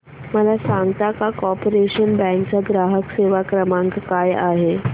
मला सांगता का कॉर्पोरेशन बँक चा ग्राहक सेवा क्रमांक काय आहे